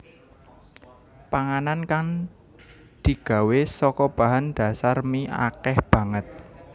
Panganan kang digawé saka bahan dhasar mie akèh banget